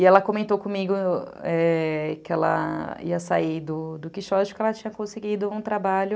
E ela comentou comigo que ela ia sair do do Quixote porque ela tinha conseguido um trabalho...